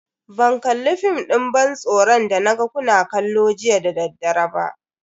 Ban kalli fim din ban tsoron da naga kuna kallo jiya dadaddare.